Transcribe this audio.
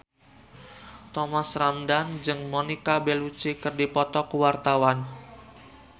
Thomas Ramdhan jeung Monica Belluci keur dipoto ku wartawan